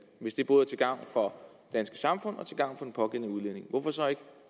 hvis det både er til gavn for det danske samfund og til gavn pågældende udlænding hvorfor så ikke